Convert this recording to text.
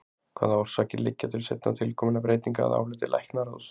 Hvaða orsakir liggja til seinna tilkominna breytinga að áliti læknaráðs?